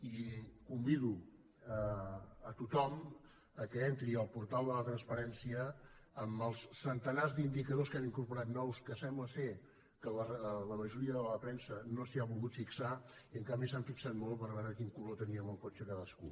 i convido a tothom que entri al portal de la transparència en els centenars d’indicadors que hem incorporat nous que sembla que la majoria de la premsa no s’hi ha volgut fixar i en canvi s’ha fixat molt a veure de quin color teníem el cotxe cadascú